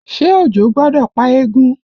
Ṣé òjò gbọ́dọ̀ pa eégún?